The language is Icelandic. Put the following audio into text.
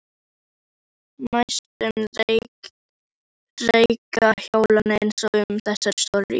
Á næstu reika hjónin ein um þessa stóru íbúð.